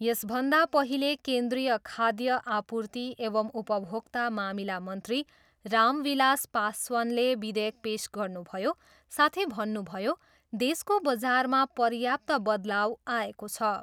यसभन्दा पहिले केन्द्रिय खाद्य आपूर्ति एवं उपभोक्ता मामिला मन्त्री रामविलास पासवानले विधेयक पेस गर्नुभयो, साथै भन्नुभयो, देशको बजारमा पर्याप्त बदलाउ आएको छ।